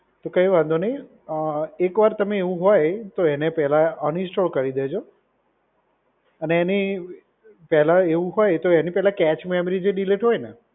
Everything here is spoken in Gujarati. તો કંઈ વાંધો નહીં. એકવાર તમે એવું હોય તો એને પહેલા અનઇન્સ્ટોલ કરી દેજો. અને એની પહેલા એવું હોય તો એની પહેલા કેચ મેમરી જે ડિલીટ હોય ને.